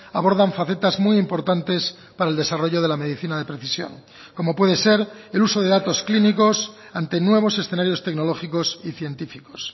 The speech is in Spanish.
abordan facetas muy importantes para el desarrollo de la medicina de precisión como puede ser el uso de datos clínicos ante nuevos escenarios tecnológicos y científicos